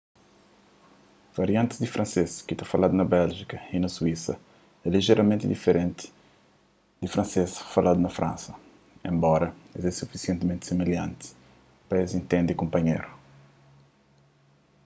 variantis di fransês ki ta faladu na béljika y na suísa é lijeramenti diferenti di fransês faladu na fransa enbora es é sufisientimenti similhanti pa es intende kunpanhéru